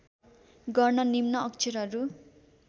गर्न निम्न अक्षरहरू